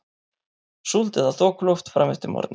Súld eða þokuloft fram eftir morgni